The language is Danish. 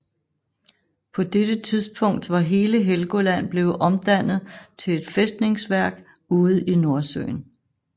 På dette tidspunkt var hele Helgoland blevet omdannet til et fæstningsværk ude i Nordsøen